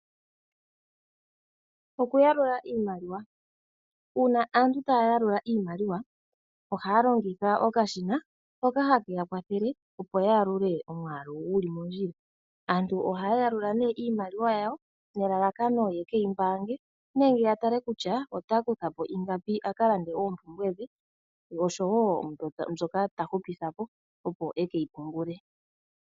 Okuyalula iimaliwa Uuna aantu taya yalula iimaliwa ohaya longitha okashina hoka hake ya kwathele, opo ya yalule omwaalu guli mondjila. Aantu ohaya yalula nee iimaliwa yawo nelalakano yeke yi mbaange nenge ya tale kutya ota kutha po ingapi aka lande oompumbwe dhe noshowo mbyoka ta hupitha po, opo eke yi pungule.